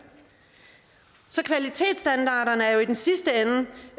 så kvalitetsstandarderne er jo i den sidste ende bare